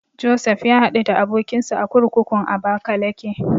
Josef ya haɗu da abokinsa a kurkukun Abakalake.